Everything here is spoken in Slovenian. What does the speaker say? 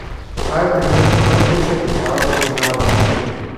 Kaj je trenutno najhujša težava med državama?